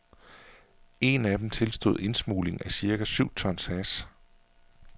En af dem tilstod indsmugling af cirka syv tons hash.